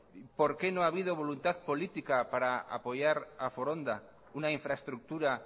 por qué no ha habido voluntad política para apoyar a foronda una infraestructura